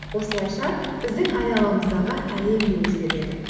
осылайша біздің айналамыздағы әлем де өзгереді